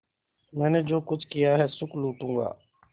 मैंने जो कुछ किया है सुख लूटूँगा